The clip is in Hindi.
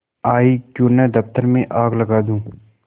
आयीक्यों न दफ्तर में आग लगा दूँ